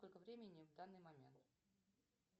сколько времени в данный момент